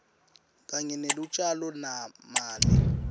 kanye nelutjalo mali